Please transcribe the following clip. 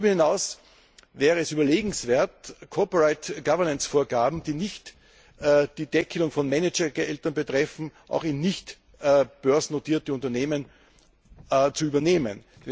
Darüber hinaus wäre es überlegenswert, Corporate Governance Vorgaben, die nicht die Deckelung von Managergehältern betreffen, auch in nichtbörsennotierten Unternehmen zu übernehmen.